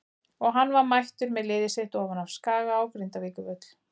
Og hann var mættur með liðið sitt ofan af Skaga á Grindavíkurvöll.